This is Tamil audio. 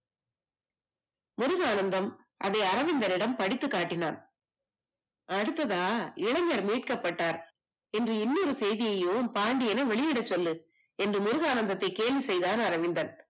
முருகானந்தம் அதை அரவிந்தனிடம் படித்துக் காட்டினான் அடுத்ததா இளைஞர் மீட்கப்பட்டார் என்று இன்னொரு செய்தி செய்தியையும் பாண்டியனா வெளியிடச் சொல்லு என்று முருகானந்தத்தை கேலி செய்தான் அரவிந்தன்